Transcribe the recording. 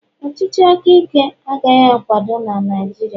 ọchịchị aka Ike agaghị akwado na Naịjirịa